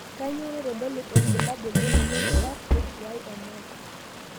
kanyio naitodolu olbulabul le moyian e RHYNS?